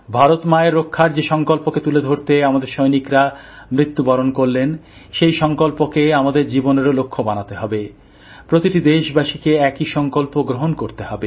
ভারত মায়ের রক্ষার যে সংকল্পকে তুলে ধরতে আমাদের সৈনিকরা মৃত্যুবরণ করলেন সেই সংকল্পকে আমাদের জীবনের লক্ষ্য তৈরি করতে হবে প্রতিটি দেশবাসীকে একই সংকল্প গ্রহণ করতে হবে